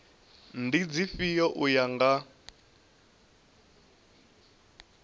ndi dzifhio u ya nga